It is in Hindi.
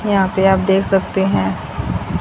यहां पे आप देख सकते हैं।